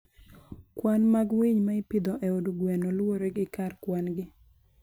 Kwan mag winy ma ipidho e od gweno luwore gi kar kwan-gi.